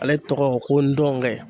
Ale tɔgɔ ko n dɔnkɛ.